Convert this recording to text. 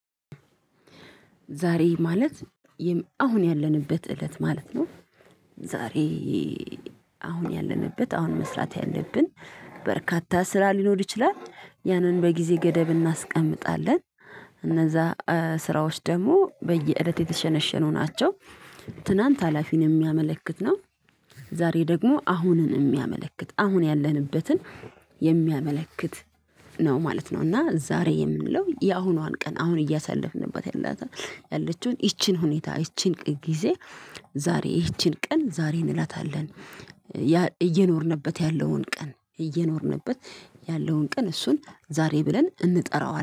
ዛሬ ማለት አሁን ያለንበት እለት ማለት ነው። ዛሬ አሁን ያለንበት አሁን መስራት ያለብን በርካታ ስራ ሊኖር ይችላል። ያንን በጊዜ ገደብ እናስቀምጣለን እነዛ ስራዎች ደግሞ በየእለት የተሸነሸኑ ናቸው። ትናንት ሀላፊን የሚያመለክት ነው። ዛሬ ደግሞ አሁንን የሚያመለክት አሁን ያለንበትን የሚያመለክት ነው ማለት ነው። እና ዛሬ የምንለው የአሁኗን ቀን አሁን እያሳለፍንበት ያላታ ያለችውን ይቺን ሁኔታ ይቺን ቀን ጊዜ ዛሬ ይቺን ቀን ዛሬ እንላታለን። እየኖርንበት ያለውን ቀን እየኖርንበት ያለውን ቀን እሱን ዛሬ ብለን እንጠራዋለን